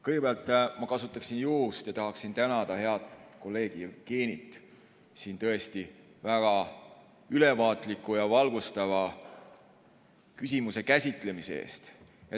Kõigepealt kasutan juhust ja tahan tänada head kolleegi Jevgenit küsimuse tõesti väga ülevaatliku ja valgustava käsitlemise eest.